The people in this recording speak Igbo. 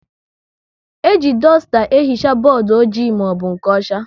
E ji dusta ehicha bọọdụ ojii maọbụ nke ọcha